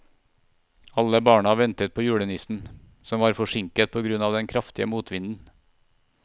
Alle barna ventet på julenissen, som var forsinket på grunn av den kraftige motvinden.